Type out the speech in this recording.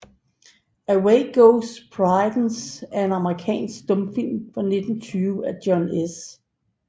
Away Goes Prudence er en amerikansk stumfilm fra 1920 af John S